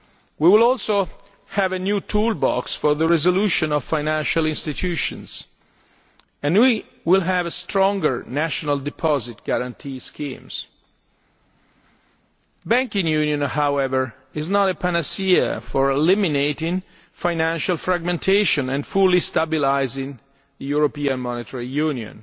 We will also have a new toolbox for the resolution of financial institutions and we will have stronger national deposit guarantee schemes. Banking union, however, is not a panacea for eliminating financial market fragmentation and fully stabilising the European Monetary